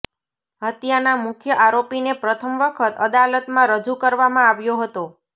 હત્યાના મુખ્ય આરોપીને પ્રથમ વખત અદાલતમાં રજૂ કરવામાં આવ્યો હતો